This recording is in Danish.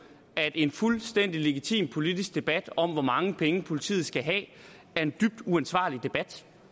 at en fuldstændig legitim politisk debat om hvor mange penge politiet skal have er en dybt uansvarlig debat